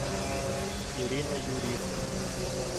ирина юрьевна